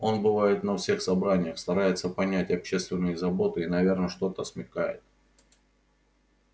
он бывает на всех собраниях старается понять общественные заботы и наверно что-то смекает